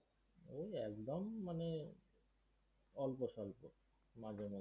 ঐ একদম মানে অল্পসল্প, মাঝে মধ্যে।